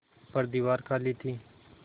पर दीवार खाली थी